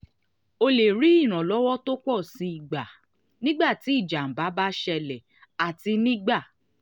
o lè rí ìrànlọ́wọ́ tó pọ̀ sí i gbà nígbà tí ìjábá bá ṣẹlẹ̀ àti nígbà